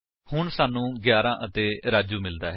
ਹੁਣ ਸਾਨੂੰ 11 ਅਤੇ ਰਾਜੂ ਮਿਲਦਾ ਹੈ